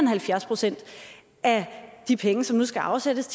halvfjerds procent af de penge som nu skal afsættes